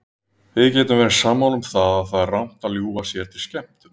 Við getum verið sammála um að það er rangt að ljúga sér til skemmtunar.